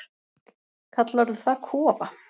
Kallarðu það kofa?